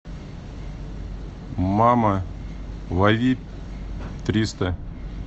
мама лови триста